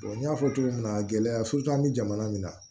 n y'a fɔ cogo min na gɛlɛya an bɛ jamana min na